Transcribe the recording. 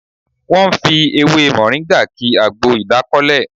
Wọ́n fi ewé Mọ̀ríngà ki àgbo ìdákọ́lẹ̀